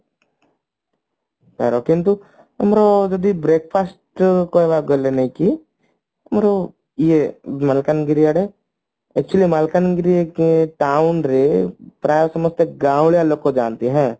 ତାର କିନ୍ତୁ ଆମର ଯଦି breakfast କହିବାକୁ ଗଲେ ନାଇଁ କି ଆମର ଇଏ ମାଲକାନଗିରି ଆଡେ ମାଲକାନଗିରି ର ଯୋଉ town ରେ ପ୍ରାଏ ସମସ୍ତେ ଗାଉଁଳା ଲୋକ ଯାନ୍ତି ହଁ